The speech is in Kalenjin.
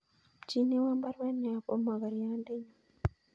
Ipchinewon baruet neyobu mokoryondenyun